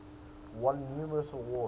won numerous awards